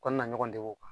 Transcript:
U kana na ɲɔgɔn degun